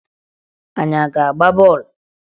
Anyị a ga-agba bọọlụ?